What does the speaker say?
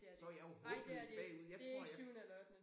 Så jeg jo håbløst bagud jeg tror jeg